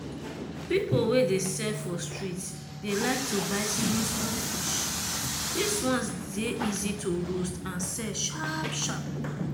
peolpe wey dey sell for street dey like to buy small small fish this ones dey easy to roast and sell sharp sharp.